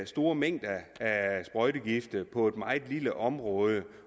store mængder sprøjtegifte på et meget lille område